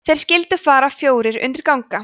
þeir skyldu þar fjórir undir ganga